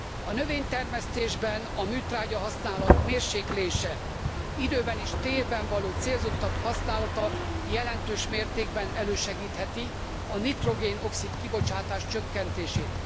A növénytermesztésben a műtrágyahasználat mérséklése, időben és térben való célzottabb használata jelentős mértékben elősegítheti a nitrogén oxid kibocsátás csökkentését.